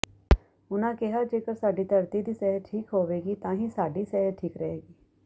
ਉਨ੍ਹਾਂ ਕਿਹਾ ਜੇਕਰ ਸਾਡੀ ਧਰਤੀ ਦੀ ਸਿਹਤ ਠੀਕ ਹੋਵੇਗੀ ਤਾਂ ਹੀ ਸਾਡੀ ਸਿਹਤ ਠੀਕ ਰਹੇਗੀ